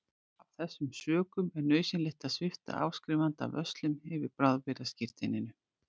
Af þessum sökum er nauðsynlegt að svipta áskrifanda vörslum yfir bráðabirgðaskírteininu.